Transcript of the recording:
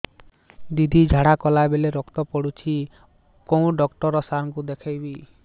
ଦିଦି ଝାଡ଼ା କଲା ବେଳେ ରକ୍ତ ପଡୁଛି କଉଁ ଡକ୍ଟର ସାର କୁ ଦଖାଇବି